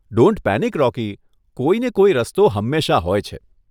Don't panic Rocky, કોઈને કોઈ રસ્તો હંમેશા હોય છે.